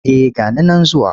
Eh ga ni nan zuwa.